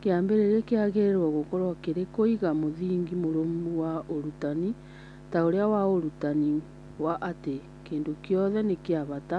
Kĩambĩrĩria kĩagĩrĩirũo gũkorũo kĩrĩ kũiga mũthingi mũrũmu wa ũrutani ta ũrĩa wa ũrutani wa atĩ kĩndũ gĩothe nĩ kĩa bata,